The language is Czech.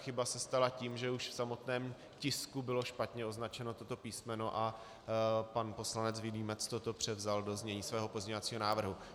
Chyba se stala tím, že už v samotném tisku bylo špatně označeno toto písmeno a pan poslanec Vilímec toto převzal do znění svého pozměňovacího návrhu.